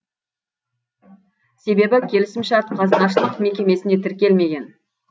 себебі келісімшарт қазынашылық мекемесіне тіркелмеген